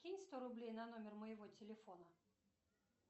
кинь сто рублей на номер моего телефона